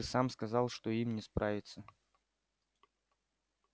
ты сам сказал что им не справиться